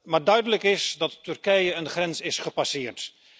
Maar duidelijk is dat Turkije een grens is gepasseerd.